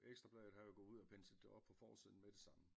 Ekstra Bladet havde jo gået ud og penslet det op på forsiden med det samme